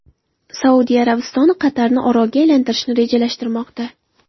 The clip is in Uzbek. Saudiya Arabistoni Qatarni orolga aylantirishni rejalashtirmoqda.